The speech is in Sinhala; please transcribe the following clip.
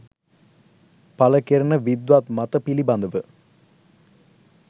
පළ කෙරෙන විද්වත් මත පිළිබඳව